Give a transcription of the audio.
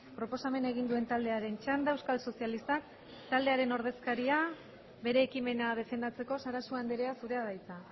proposamena egin duen taldearen txanda euskal sozialistak taldearen ordezkaria bere ekimena defendatzeko sarasua andrea zurea da hitza